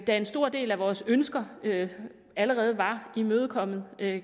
en stor del af vores ønsker allerede var imødekommet i